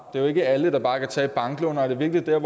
er jo ikke alle der bare kan tage et banklån og er det virkelig